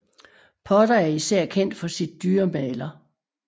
Potter er især kendt for sit dyremaler